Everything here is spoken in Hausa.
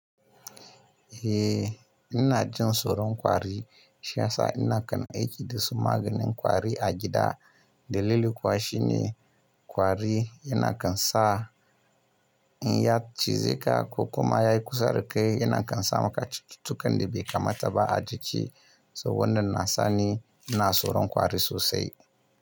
Eh ina jin tsoron kwari, shi ya sa ina kan aiki dasu maganin kwari a gida. Dalili kuwa shine kwari yana kan sa in yi yatsa cizeka ko kuma ya yi kusa da kai yana kan sa maka cutukan da bai kamata ba a jiki, so wannan na sani ina tsoron kwari sosai.